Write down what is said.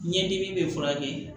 Ɲɛ dimi bɛ furakɛ